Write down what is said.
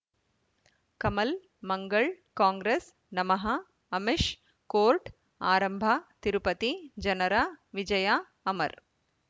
ಕಮಲ್ ಮಂಗಳ್ ಕಾಂಗ್ರೆಸ್ ನಮಃ ಅಮಿಷ್ ಕೋರ್ಟ್ ಆರಂಭ ತಿರುಪತಿ ಜನರ ವಿಜಯ ಅಮರ್